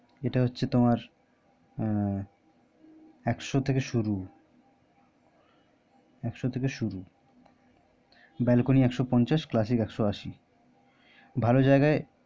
এটা হচ্ছে তোমার উম একশো থেকে শুরু বেলকনি একশো পঞ্চাশ বেলকনি একশো পঞ্চাশ clasic একশো আসি ভালো জায়গায়